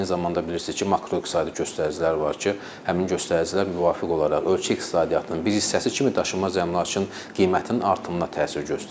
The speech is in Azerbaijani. Eyni zamanda bilirsiniz ki, makroiqtisadi göstəricilər var ki, həmin göstəricilər müvafiq olaraq ölkə iqtisadiyyatının bir hissəsi kimi daşınmaz əmlakın qiymətinin artımına təsir göstərir.